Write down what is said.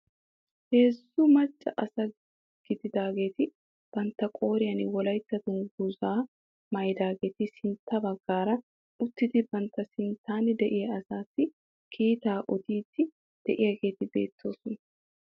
Heezzu macca asata gididaageeti bantta qooriyaan wolaytta dungguzaa maayidaageti siintta baggaara uttidi bantta sinttan de'iyaa asaasi kiitaa odiidi de'iyaageeti beettoosona.